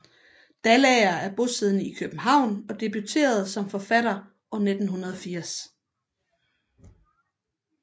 Dalager er bosiddende i København og debuterede som forfatter år 1980